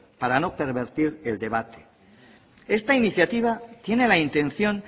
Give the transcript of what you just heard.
para no pervertir el debate esta iniciativa tiene la intención